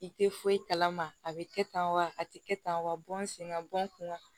I tɛ foyi kalama a bɛ kɛ tan wa a tɛ kɛ tan wa n sen ka bɔ n kunna